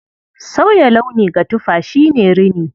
Sauya launi ga tufa shi ne rini.